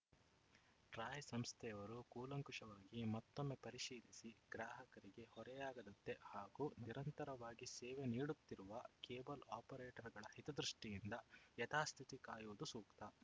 TRAI ಸಂಸ್ಥೆಯವರು ಕೂಲಂಕುಷವಾಗಿ ಮತ್ತೊಮ್ಮೆ ಪರಿಶೀಲಿಸಿ ಗ್ರಾಹಕರಿಗೆ ಹೊರೆಯಾಗದಂತೆ ಹಾಗೂ ನಿರಂತರವಾಗಿ ಸೇವೆ ನೀಡುತ್ತಿರುವ ಕೇಬಲ ಆಪರೇಟರ್‌ಗಳ ಹಿತದೃಷ್ಟಿಯಿಂದ ಯಥಾಸ್ಥಿತಿ ಕಾಯುವುದು ಸೂಕ್ತ